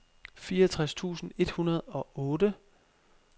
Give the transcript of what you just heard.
fireogtres tusind et hundrede og otte